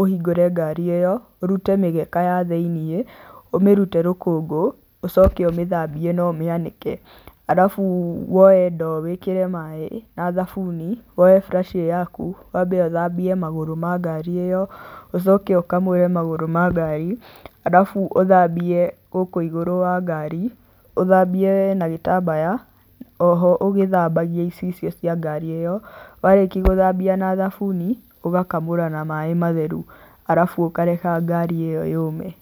ũhingũre ngari ĩyo, ũrute mĩgeka ya thĩiniĩ, ũmĩrute rũkũngũ ũcoke ũmĩthambie na ũmĩanĩke. Arabu woe ndoo wĩkĩre maĩ na thabuni, woe buraci ĩyo yaku, wambe ũthambie magũrũ ma ngari ĩyo, ũcoke ũkamũre magũrũ ma ngari arabu ũthambie gũkũ igũrũ wa ngari, ũthambie na gĩtambaya oho ũgĩthambagia icicio cia ngari ĩyo, warĩkia gũthambia na thabuni, ũgakamũra na maĩ matheru arabu ũkareka ngari ĩyo yũme.